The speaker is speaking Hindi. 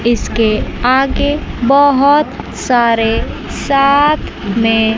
इसके आगे बहुत सारे साथ में--